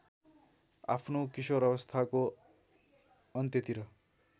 आफ्नो किशोरावस्थाको अन्त्यतिर